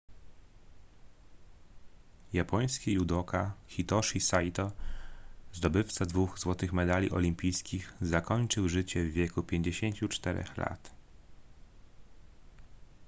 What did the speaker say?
japoński judoka hitoshi saito zdobywca dwóch złotych medali olimpijskich zakończył życie w wieku 54 lat